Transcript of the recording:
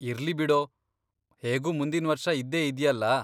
ಇರ್ಲಿ ಬಿಡೋ, ಹೇಗೂ ಮುಂದಿನ್ವರ್ಷ ಇದ್ದೇ ಇದ್ಯಲ್ಲ.